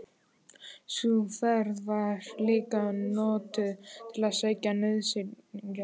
Sú ferð var líka notuð til að sækja nauðsynjar.